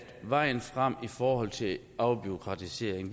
vejen frem i forhold til afbureaukratisering